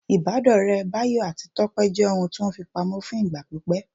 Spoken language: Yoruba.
Ìbádọ́ọ̀rẹ́ Báyọ̀ àti Tọ́pẹ́ jẹ́ ohun tí wọ́n fi pamọ́ fún ìgbà pípẹ́